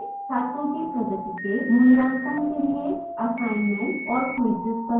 छात्रों की प्रगति के मूल्यांकन के लिए assignments और quizzes बनाएं